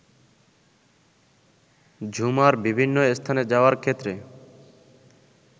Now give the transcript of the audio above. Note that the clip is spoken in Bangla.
ঝুমার বিভিন্ন স্থানে যাওয়ার ক্ষেত্রে